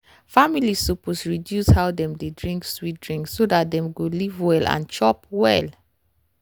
families suppose reduce how dem dey drink sweet drinks so dat dem go to live well and chop well.